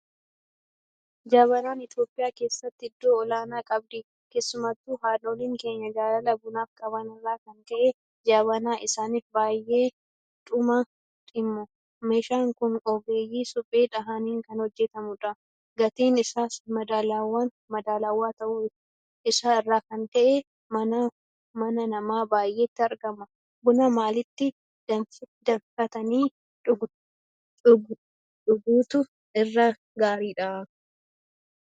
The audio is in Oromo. Jabanaan Itoophiyaa keessatti iddoo olaanaa qabdi. Keessattuu haadholiin keenya jaalala bunaaf qaban irraa kan ka'e Jabanaa isaaniif baay'eedhuma dhimmu. Meeshaan kun ogeeyyii suphee dhahaniin kan hojjetamudha. Gatiin isaas madaalawaa ta'uu isaa irraa kan ka'e mana nama baay'eetti argama. Buna maalitti danfifatanii dhuguutu irra gaariidha?